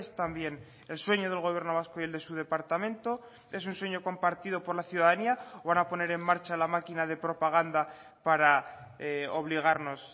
también el sueño del gobierno vasco y el de su departamento es un sueño compartido por la ciudadanía o van a poner en marcha la máquina de propaganda para obligarnos